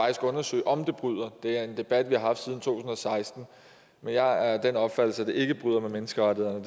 at undersøge om det bryder det er en debat vi har haft siden to og seksten men jeg er af den opfattelse at det ikke bryder med menneskerettighederne